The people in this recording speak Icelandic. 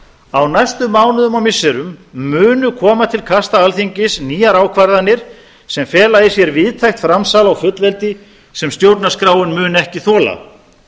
á næstu mánuðum og missirum munu koma til kasta alþingis nýjar ákvarðanir sem fela í sér víðtækt framsal á fullveldi sem stjórnarskráin mun ekki þola